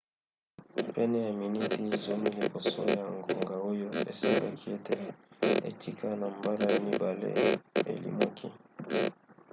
pene ya miniti zomi liboso ya ngonga oyo esengaki ete ekita na mbala ya mibale elimwaki